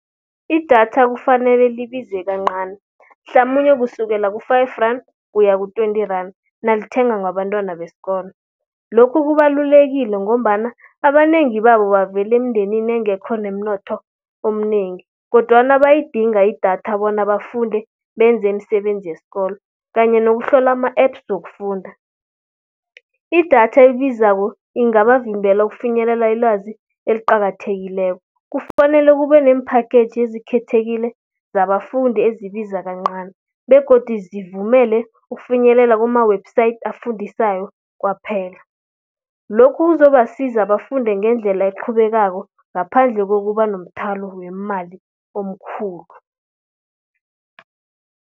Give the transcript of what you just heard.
Idatha kufanele libize kancani hlamunye kusukela ku-five rand ukuya ku-twenty rand, nalithengwa bantwana besikolo. Lokhu kubalulekile ngombana abanengi babo bavela emndenini engekho nemnotho omnengi, kodwana bayayidinga idatha bona bafunde benze imisebenzi yesikolo kanye nokuhlola ama-apps wokufunda. Idatha ebizako ingabavimbela ukufinyelela ilwazi eliqakathekileko. Kufanele kube nemphakheji ezikhethekileko zabafundi ezibiza kancani begodu zivumele ukufinyelela kuma-website afundisayo kwaphela. Lokhu kuzobasiza bafunde ngendlela eqhubekako ngaphandle kokuba nomthwalo wemali omkhulu.